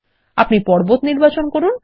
আপনি পর্বত নির্বাচন করুন